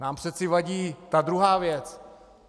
Nám přeci vadí ta druhá věc!